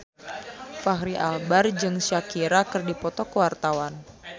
Fachri Albar jeung Shakira keur dipoto ku wartawan